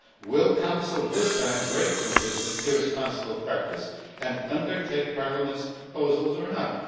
Will the Council this time break with this irresponsible practice and undertake Parliament's proposals, or not?